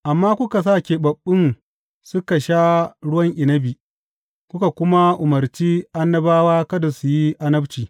Amma kuka sa keɓaɓɓun suka sha ruwan inabi kuka kuma umarci annabawa kada su yi annabci.